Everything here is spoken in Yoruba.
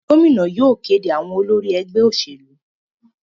Gómìnà yóò kéde àwọn olórí ẹgbẹ́ òṣèlú.